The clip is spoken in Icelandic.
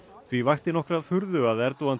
því vakti nokkra furðu að Erdogan